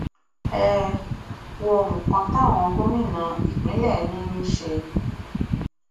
ẹ um wo nǹkan táwọn gómìnà ìpínlẹ yín ń ṣe um